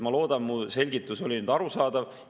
Ma loodan, et mu selgitus oli nüüd arusaadav.